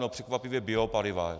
No překvapivě biopaliva.